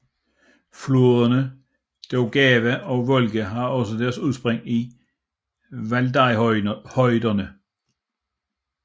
Floderne Daugava og Volga har også deres udspring i Valdajhøjderne